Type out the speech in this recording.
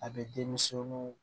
A bɛ denmisɛnuw